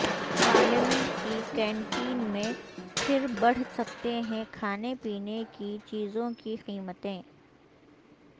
parliament کی canteen میں پھر بڑھ سکتے ہیں کھانے پینے کی چیزوں کی قیمتیں